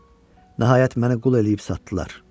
Nəhayət məni qul eləyib satdılar.